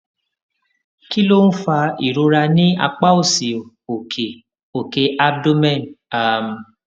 kí ló ń fa ìrora ní apá òsì òkè òkè abdomen um